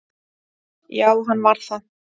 Já, hann var það